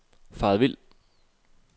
faret vild